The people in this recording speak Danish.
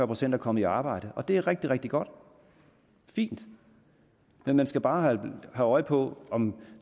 procent er kommet i arbejde og det er rigtig rigtig godt og fint men man skal bare have øje på om